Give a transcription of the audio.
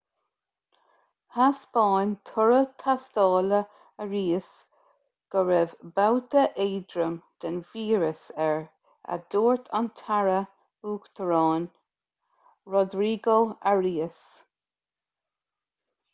thaispeáin toradh tástála arias go raibh babhta éadrom den víreas air a dúirt an taire uachtaráin rodrigo arias